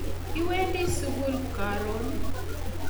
Iwendi sugul karoon?